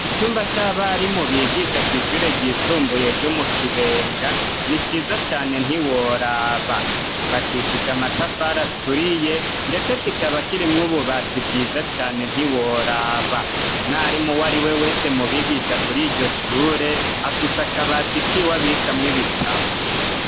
Icyumba c'abarimu bigisha kw' ishure ryisumbuye ryo mu kibenga ni ciza cane ntiworaba, cubakishije amatafari aturiye ,ndetse kikaba kirimwo ububati bwiza cane ntiworaba ,umwarimu uwariwe wese mubigisha kuri iryoshure, afise akabati kiwe abikamw' ibitabo.